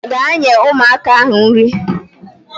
Gaa nye ụmụaka ahụ nri